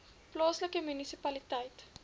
plaaslike munisipaliteit